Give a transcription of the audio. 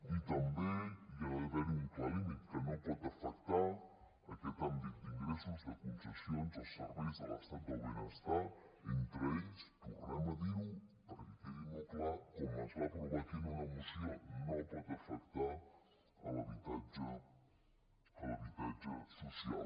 i també hi ha d’haver un clar límit que no pot afectar aquest àmbit d’ingressos de concessions els serveis de l’estat del benestar entre ells tornem a dir ho perquè quedi molt clar com es va aprovar aquí en una moció no pot afectar l’habitatge social